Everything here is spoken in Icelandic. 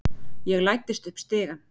Ég læddist upp stigann.